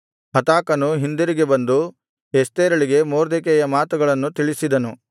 ಹತಾಕನು ಹಿಂದಿರುಗಿ ಬಂದು ಎಸ್ತೇರಳಿಗೆ ಮೊರ್ದೆಕೈಯ ಮಾತುಗಳನ್ನು ತಿಳಿಸಿದನು